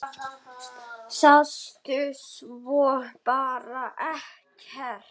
Sástu svo bara ekkert?